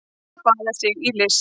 Að baða sig í list